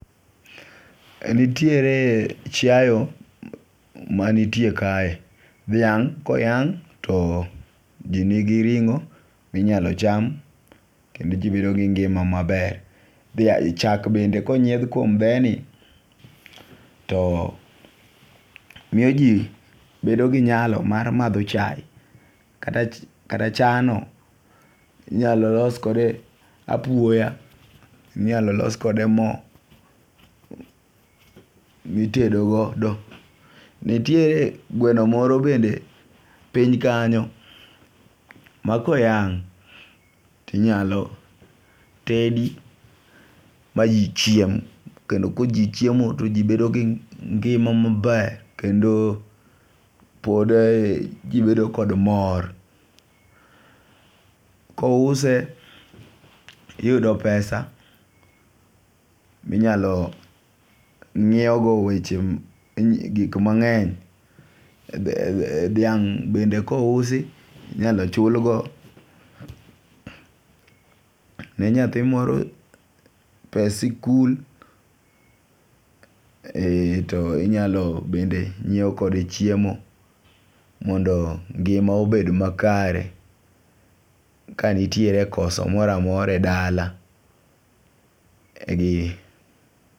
Nitiere chiayo manitie kae. Dhiang' koyang' to jinigi ring'o minyalo cham kendo jii bedo gi ngima maber chak bende konyiedh kuom dheni to miyo jii bedo gi nyalo mar madho chai kata, chano inyalo los kode apuoya, inyalo los kode moo nitedo godo. Nitiere gweno moro bende piny kanyo ma koyang' tinyalo tedi ma jii chiem kendo ka jii chiemo to jii bedo gi ngima maber kendo pod e jii bedo kod mor, kouse iyudo pesa minyalo nyiew go weche gik mang'eny. Be e dhiang' bende kousi inyalo chul go ne nyathi moro pes sikul e . To inyalo bende nyiewo kode chiemo mondo ngima obed makare kanitiere koso moramora e dala.